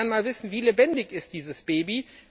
Ich würde gerne mal wissen Wie lebendig ist dieses Baby?